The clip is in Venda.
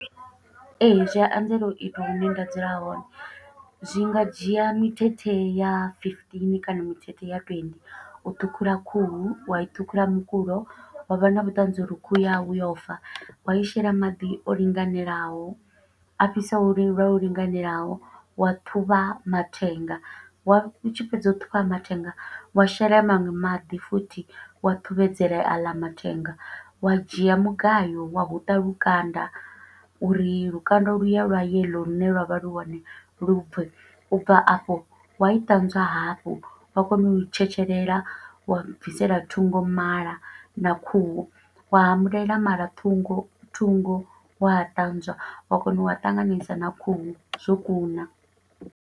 Ee, zwi a anzela u itwa hune nda dzula hone. Zwi nga dzhia mithethe ya fifteen kana mithethe ya twenty, u ṱhukhula khuhu, wa i ṱhukhula mukulo, wa vha na vhuṱanzi uri khuhu yawe yo fa wa i shela maḓi o linganelaho, a fhisaho lwo linganelaho, wa ṱhuvha mathenga, wa u tshi fhedza u ṱhuvha mathenga, wa shela ya maṅwe maḓi futhi, wa ṱhuvhedzela aḽa mathenga. Wa dzhia mugayo wa huṱa lukanda, uri lukanda luya lwa yellow lune lwa vha lu hone lu bve. U bva afho wa i ṱanzwa hafhu, wa kona u i tshetshelela, wa bvisela thungo mala na khuhu, wa humulela mala thungo, thungo wa a ṱanzwa, wa kona u a ṱanganisa na khuhu zwo kuna.